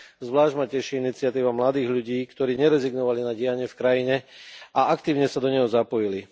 Zvlášť ma teší iniciatíva mladých ľudí, ktorí nerezignovali na dianie v krajine a aktívne sa do neho zapojili.